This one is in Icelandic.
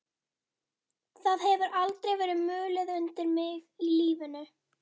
Það hefur aldrei verið mulið undir mig í lífinu.